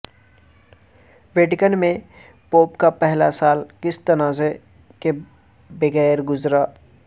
Vatican میں pope کا پہلا سال کسی تنازع کے بغیر گزرا